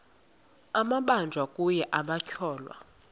amabanjwa kunye nabatyholwa